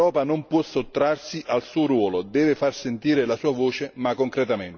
L'Europa non può sottrarsi al suo ruolo e deve far sentire la sua voce, ma concretamente.